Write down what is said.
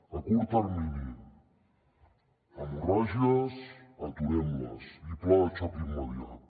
a curt termini hemorràgies aturem les i pla de xoc immediat